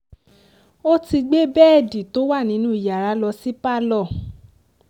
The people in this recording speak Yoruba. ó ti gbé bẹ́ẹ̀dì tó wà nínú yàrá lọ sí pálọ̀